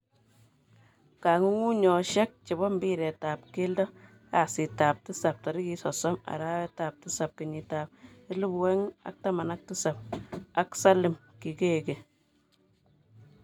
Kong ung unyoshek chebo mbiret tab keldo kasit tab tisab 30.07.2017 ak Salim Kikeke.